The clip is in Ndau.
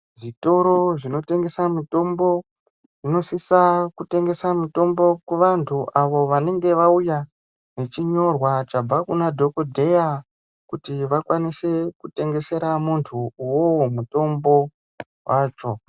Zvitoro zvinotengesa mitombo zvinosisa kutengesa mitombo kuvantu avo vanenge vauya vechinyorwa zvabva kuna dhokodheya kuti vakwanise kutengesera muntu uwowo mutombo wacho.